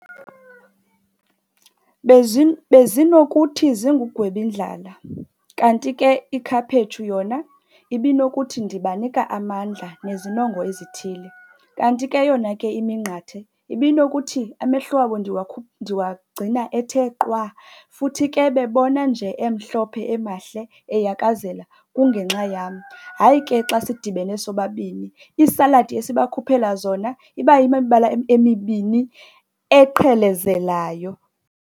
Bezinokuthi zingugwebindlala, kanti ke ikhaphetshu yona ibinokuthi ndibanika amandla nezinongo ezithile. Kanti ke yona ke iminqathe ibinokuthi amehlo wabo ndiwagcina ethe qwa, futhi ke bebona nje emhlophe emahle ayakazela kungenxa yam. Hayi ke xa sidibene sobabini iisaladi esibakhuphela zona, iba yimibala emibini eqhelezelayo.